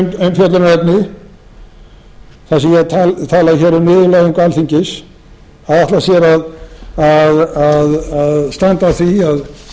hef gert hér að umfjöllunarefni þar sem ég hef talað hér um niðurlægingu alþingis að ætla sér að standa á því að